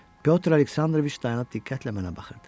Pyotr Aleksandroviç dayanıb diqqətlə mənə baxırdı.